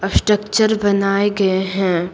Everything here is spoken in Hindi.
स्ट्रक्चर बनाए गए हैं।